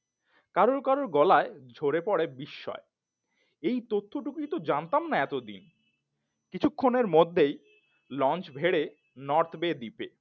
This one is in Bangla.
কারুর কারুর গলায় ঝরে পড়ে বিস্ময় এই তথ্যটুকুই তো জানতাম না এতদিন কিছুক্ষণের মধ্যেই লঞ্চ ভেড়ে নর্থ বে দ্বীপে